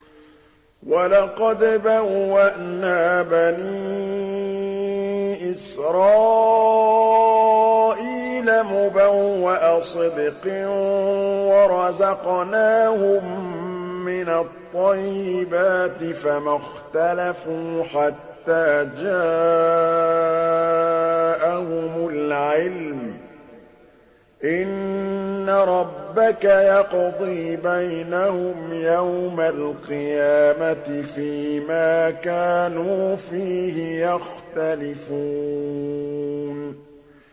وَلَقَدْ بَوَّأْنَا بَنِي إِسْرَائِيلَ مُبَوَّأَ صِدْقٍ وَرَزَقْنَاهُم مِّنَ الطَّيِّبَاتِ فَمَا اخْتَلَفُوا حَتَّىٰ جَاءَهُمُ الْعِلْمُ ۚ إِنَّ رَبَّكَ يَقْضِي بَيْنَهُمْ يَوْمَ الْقِيَامَةِ فِيمَا كَانُوا فِيهِ يَخْتَلِفُونَ